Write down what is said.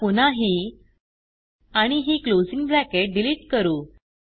आता पुन्हा ही आणि ही क्लोजिंग ब्रॅकेट डिलीट करू